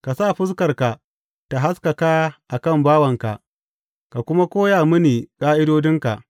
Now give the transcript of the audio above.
Ka sa fuskarka ta haskaka a kan bawanka ka kuma koya mini ƙa’idodinka.